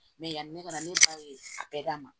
Mɛ yanni ne ka na ne ba ye a bɛɛ d'a ma